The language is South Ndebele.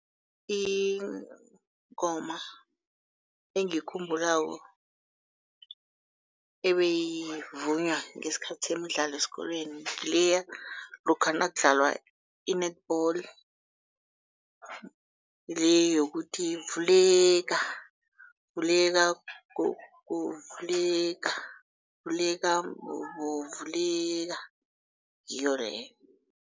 Ingoma engiyikhumbulako ebeyivunywa ngesikhathi semidlalo esikolweni, ngileya lokha nakudlalwa i-netball le yokuthi, vuleka, vuleka gogo vuleka, vuleka mbobo vuleka, ngiyo leyo.